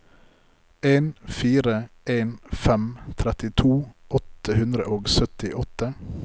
en fire en fem trettito åtte hundre og syttiåtte